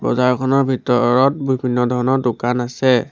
বজাৰখনৰ ভিতৰত বিভিন্ন ধৰণৰ দোকান আছে।